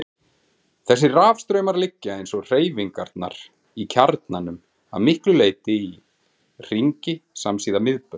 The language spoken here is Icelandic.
Þessir rafstraumar liggja, eins og hreyfingarnar í kjarnanum, að miklu leyti í hringi samsíða miðbaug.